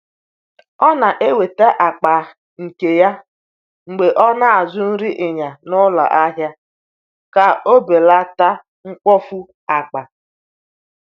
O na-eweta akpa nke ya mgbe ọ na-azụ nri ịnya n’ụlọ ahịa ka o belata mkpofu akpa.